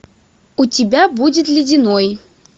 у тебя будет ледяной